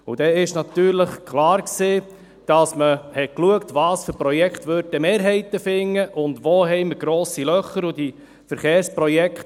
Dann war natürlich klar, dass man schaute, welche Projekte Mehrheiten finden könnten und wo grosse Löcher bestehen.